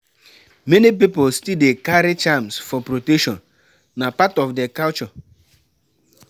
Many pipo still dey carry charms for protection; na part of dia culture.